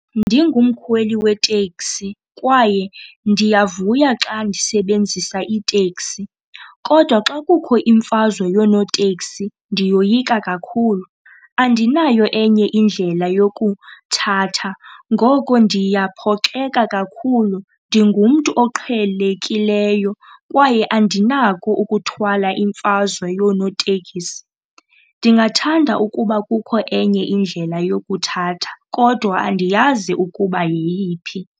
Ndingumkhweli weteksi kwaye ndiyavuya xa ndisebenzisa iteksi, kodwa xa kukho imfazwe yoonoteksi ndiyoyika kakhulu. Andinayo enye indlela yokuthatha ngoko ndiyaphoxeka kakhulu. Ndingumntu oqhelekileyo kwaye andinako ukuthwala imfazwe yonootekisi. Ndingathanda ukuba kukho enye indlela yokuthatha kodwa andiyazi ukuba yeyiphi.